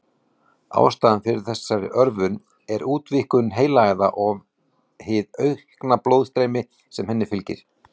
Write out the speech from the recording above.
Ástæðan fyrir þessari örvun er útvíkkun heilaæða og hið aukna blóðstreymi sem henni fylgir.